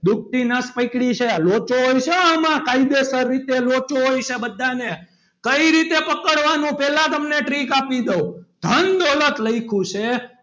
દુખતી નસ પકડી છે લોચો હોય છે આમાં કાયદેસર રીતે લોચો હોય છે બધાને કઈ રીતે પકડવાનું પહેલા તમને trick આપી દઉં ધન દોલત લખ્યું છે.